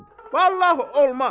Vallah olmaz.